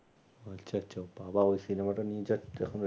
আচ্ছা আচ্ছা বাবা ওই cinema টা নিয়ে যা এখন